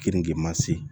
Keninge ma se